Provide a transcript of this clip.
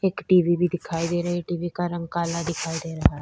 एक टी_वी भी दिखाई दे रही हैं टी_वी का रंग काला दिखाई दे रहा हैं।